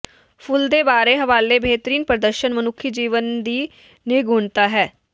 ਫੁੱਲ ਦੇ ਬਾਰੇ ਹਵਾਲੇ ਬੇਹਤਰੀਨ ਪ੍ਰਦਰਸ਼ਨ ਮਨੁੱਖੀ ਜੀਵਨ ਦੀ ਨਿਗੂਣਤਾ ਹੈ